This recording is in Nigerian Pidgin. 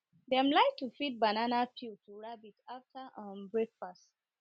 dem like to feed banana peel after um breakfast